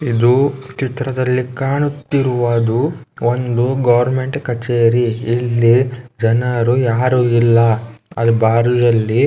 ಇದು ಚಿತ್ರದಲ್ಲಿ ಕಾಣುತ್ತಿರುವುದುವನ್ನು ಒಂದು ಗವರ್ನಮೆಂಟ್ ಕಚೇರಿ. ಇಲ್ಲಿ ಜನರು ಯಾರು ಇಲ್ಲ. ಅಲ್ಲ ಬಾರ್ಲಿಯಲ್ಲಿ --